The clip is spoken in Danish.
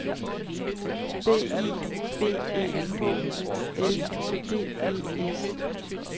B I B E H O L D E S